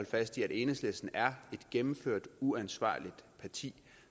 fast i at enhedslisten er et gennemført uansvarligt parti